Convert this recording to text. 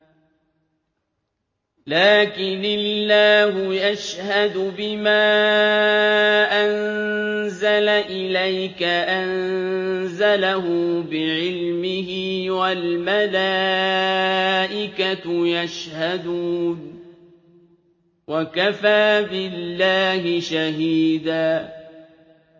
لَّٰكِنِ اللَّهُ يَشْهَدُ بِمَا أَنزَلَ إِلَيْكَ ۖ أَنزَلَهُ بِعِلْمِهِ ۖ وَالْمَلَائِكَةُ يَشْهَدُونَ ۚ وَكَفَىٰ بِاللَّهِ شَهِيدًا